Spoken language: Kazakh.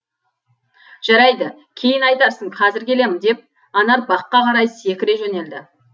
жарайды кейін айтарсың қазір келем деп анар баққа қарай секіре жөнелді